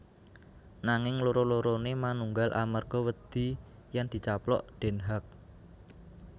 Nanging loro loroné manunggal amerga wedi yèn dicaplok Den Haag